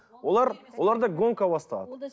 олар оларда гонка басталады